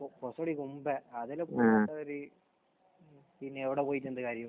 മുൻപേ. അതിന് മുൻപ് ഒരു പിന്നെ എവിടെ പോയിട്ട് എന്ത് കാര്യം?